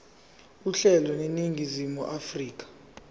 uhlelo eningizimu afrika